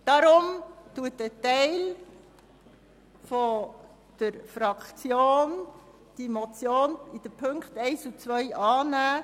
Darum nimmt ein Teil der Fraktion die Ziffern 1 und 2 der Motion an.